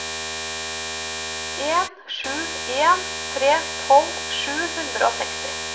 en sju en tre tolv sju hundre og seksti